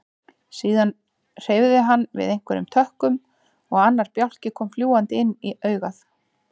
Síðan hreyfði hann við einhverjum tökkum og annar bjálki kom fljúgandi inn á augað.